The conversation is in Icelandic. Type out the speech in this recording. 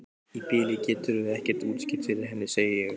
Í bili geturðu ekkert útskýrt fyrir henni, segi ég.